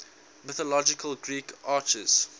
mythological greek archers